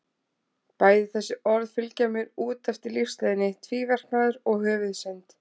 Bæði þessi orð fylgja mér út eftir lífsleiðinni, tvíverknaður og höfuðsynd.